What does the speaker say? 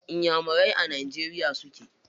Inyamurai a najeriya suke.